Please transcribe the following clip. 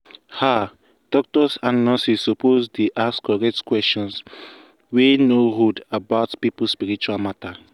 ah doctors and nurses suppose dey ask correct question wey no rude about people spiritual matter.